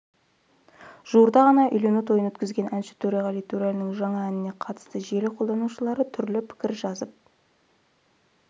жуырда ғана үйлену тойын өткізген әнші төреғали төреәлінің жаңа әніне қатысты желі қолданушылры түрлі пікір жазып